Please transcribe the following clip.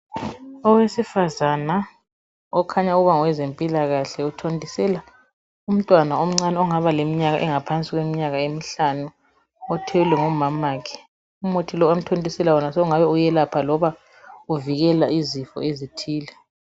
Owesifazana ovela kwezempilakahle uthontisela umntwana omcani ongaba leminyaka engaphansi kwemihlanu othelwe ngumamakhe umuthi amthontisela wona usungabe uyelapha loba uvikela izifo ezithile